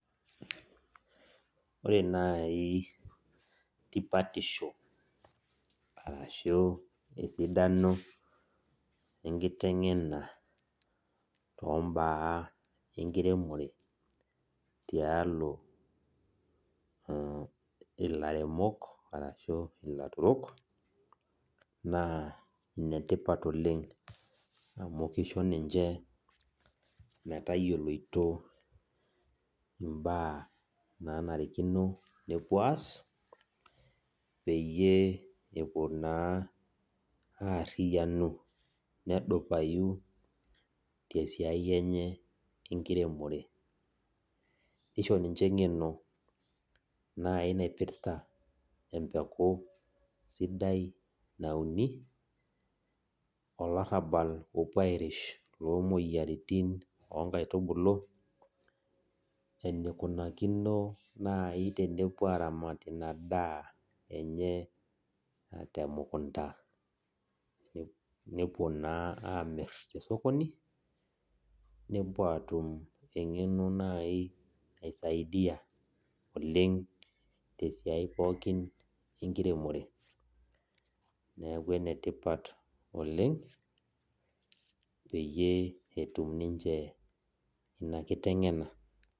Ore nai tipatisho arashu esidano enkiteng'ena tombaa enkiremore tialo ilairemok arashu ilaturok, naa enetipat oleng amu kisho ninche metayioloito imbaa nanarikino nepuo aas, peyie epuo naa arriyianu, nedupayu esiai enye enkiremore. Nisho ninche eng'eno, nai naipirta empeku sidai nauni, olarrabal opuo airish lomoyiaritin onkaitubulu, enikunakino nai tenepuo aramat inadaa enye temukunta, nepuo naa amir tesokoni, nepuo eng'eno nai naisaidia oleng tesiai pookin enkiremore. Neeku enetipat oleng, peyie etum ninche ina kiteng'ena.